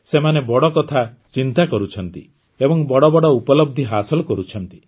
ସେମାନେ ବଡ଼ କଥା ଚିନ୍ତା କରୁଛନ୍ତି ଏବଂ ବଡ଼ ବଡ଼ ଉପଲବ୍ଧି ହାସଲ କରୁଛନ୍ତି